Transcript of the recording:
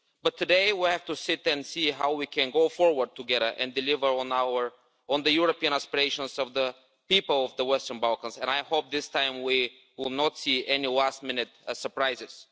But today, we have to see how we can go forward together and deliver on the European aspirations of the people of the Western Balkans, and I hope this time we will not see any last-minute surprises.